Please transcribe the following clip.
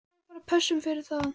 Ég fæ bara pössun fyrir það.